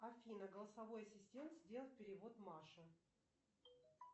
афина голосовой ассистент сделать перевод маше